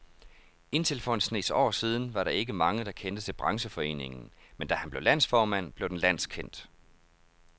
Indtil for en snes år siden var der ikke mange, der kendte til brancheforeningen, men da han blev landsformand, blev den landskendt.